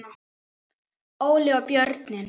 Óli og börnin.